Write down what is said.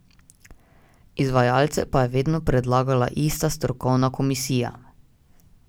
Izvajalce pa je vedno predlagala ista strokovna komisija.